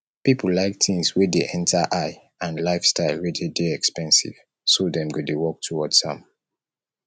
pipo like things wey de enter eye and lifestyle wey de de expensive so dem go de work towards am